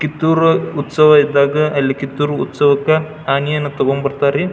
ಕಿತ್ತೂರ್ ಉತ್ಸವ ಇದ್ದಾಗ ಅಲ್ಲಿ ಕಿತ್ತೂರ್ ಉತ್ಸವಕ್ ಆನಿಯನ್ ತಕೊಂಡ್ ಬರತ್ತರಿ.